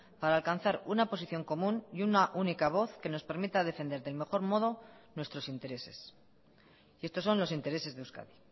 para alcanzar una posición común y una única voz que nos permita defender del mejor modo nuestros intereses y estos son los intereses de euskadi